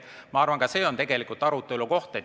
Ma arvan, et ka see on arutelu teema.